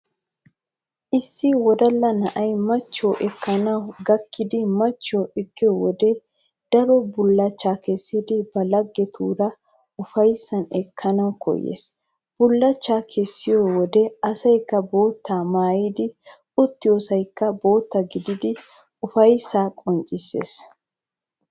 Issi wodalla na'ay machchiyo ekkanawu gakkidi machchiyo ekkiyo wode daruwa bullachchaa kessidi ba laggetuura ufayssan ekkanawu koyyees. Bullachchaa kessiyode asaykka boottaa maayidi uttiyosaykka bootta gididi ufayssaa qonccissees.